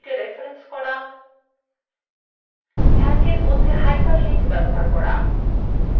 calc এর মধ্যে hyperlinks ব্যবহার করা